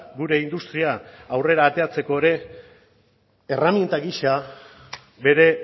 gure industria aurrera ateratzeko ere erreminta gisa bere